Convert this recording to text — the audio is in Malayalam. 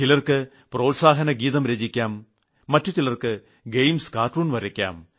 ചിലർക്ക് പ്രോത്സാഹനഗീതം രചിക്കാം മറ്റു ചിലർക്ക് ഗെയിംസ് കാർട്ടൂൺ വരയ്ക്കാം